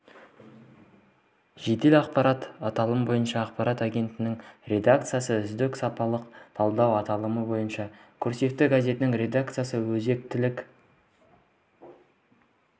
жедел ақпарат аталымы бойынша ақпарат агентігінің редакциясы үздік салалық талдау аталымы бойынша курсивъ газетінің редакциясы өзектілік